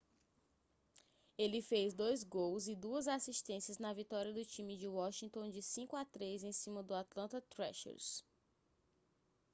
ele fez 2 gols e 2 assistências na vitória do time de washington de 5 a 3 em cima do atlanta thrashers